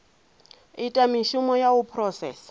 ita mishumo ya u phurosesa